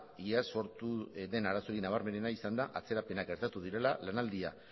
iaz sortu den arazorik nabarmenena izan da atzerapenak gertatu direla lanaldia